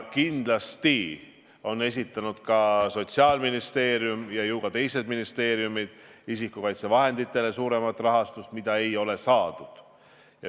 Kindlasti on esitanud Sotsiaalministeerium ja ju ka teised ministeeriumid taotluse isikukaitsevahendite jaoks suurema summa saamiseks, mida ei ole rahuldatud.